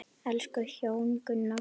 Elsku hjón, Gunnar og Dalla.